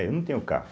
É eu não tenho carro.